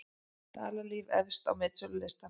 Dalalíf efst á metsölulistann